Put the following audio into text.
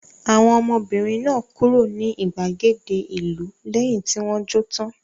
Àwọn ọmọbìnrin náà kúrò ní ìgbàgede ìlú lẹ́yìn tí wọ́n jó tán?